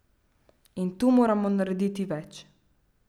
In tu moramo narediti več.